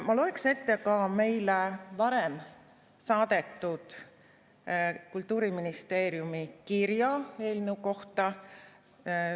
Ma loeksin ette ka meile varem saadetud Kultuuriministeeriumi kirja eelnõu kohta.